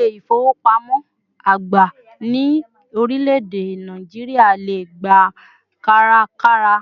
İle-ifowopamo àgbà ní orileede Nigeria lè gbà kárakára